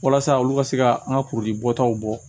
Walasa olu ka se ka an ka kurudi bɔtaw bɔ